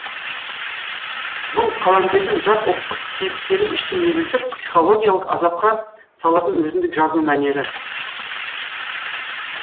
бұл қаламгердің жат ұлттық кейіпкерін іштей егілтіп психологиялық азапқа салатын өзіндік жазу мәнері